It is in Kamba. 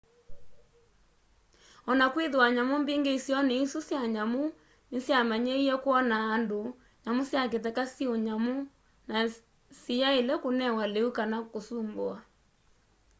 onakwithiwa nyamu mbingi isioni isu sya nyamu nisyamanyiie kwonaa andu nyamu sya kitheka syi unyamu na siyaile kunewa liu kana kusumbuwa